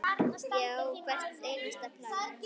Ég á hvert einasta plakat.